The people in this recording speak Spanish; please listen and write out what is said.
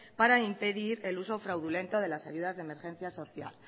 para impedir el uso fraudulento de las ayudas de emergencia social